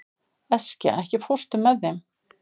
Eskja, ekki fórstu með þeim?